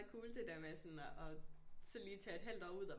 Cool det der med sådan at så lige taget et halvt år ud og